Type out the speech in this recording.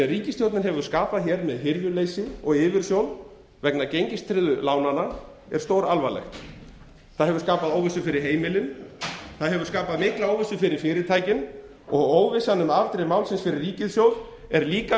ríkisstjórnin hefur skapað með hirðuleysi og yfirsjón vegna gengistryggðu lánanna er stóralvarlegt það hefur skapað óvissu fyrir heimilin og mikla óvissu fyrir fyrirtækin óvissan um afdrif málsins fyrir ríkissjóð er líka